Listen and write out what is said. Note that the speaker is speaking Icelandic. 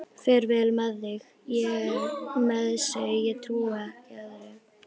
Fer vel með sig, ég trúi ekki öðru.